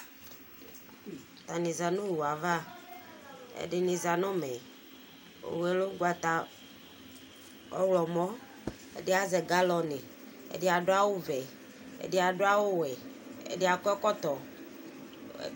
Atani za nʋ owu yɛ ava Ɛdini za nʋ ʋmɛ Owu yɛ lɛ ʋgbata ɔwlɔmɔ Ɛdi azɛ galɔni, ɛdi adʋ awʋ vɛ, ɛdi adʋ awʋ wɛ, ɔdi akɔ ɛkɔtɔ